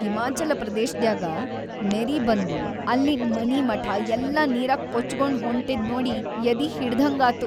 ಹಿಮಾಚಲ ಪ್ರದೇಶದ್ಯಾಗ ನೆರಿಬಂದು ಅಲ್ಲಿನ್‌ ಮನಿಮಠಾ ಎಲ್ಲಾ ನೀರಾಗ ಕೊಚಗೊಂಡ್ ಹೊಂಟಿದ್ ನೋಡಿ ಎದಿ ಹಿಂಡದ್ಹಂಗಾತು.